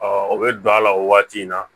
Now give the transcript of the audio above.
o bɛ don a la o waati in na